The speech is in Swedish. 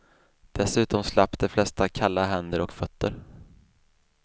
Dessutom slapp de flesta kalla händer och fötter.